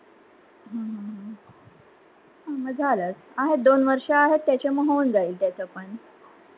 हम्म म झालच आहेत, दोन वर्ष आहेत त्याच्यात होऊन जाईल त्याचा पण.